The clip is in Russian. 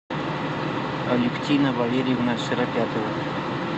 алевтина валерьевна широпятова